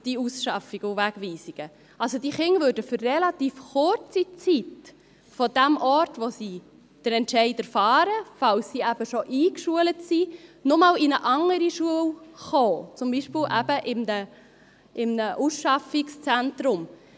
Diese Kinder würden also für eine relativ kurze Zeit von dem Ort, an dem sie vom Entscheid erfahren, falls sie bereits eingeschult sind, noch einmal in eine andere Schule gelangen, zum Beispiel eben in ein Ausschaffungszentrum.